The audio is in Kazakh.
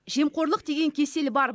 жемқорлық деген кесел бар